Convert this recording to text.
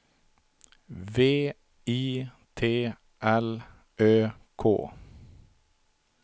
V I T L Ö K